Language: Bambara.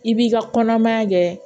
I b'i ka kɔnɔmaya kɛ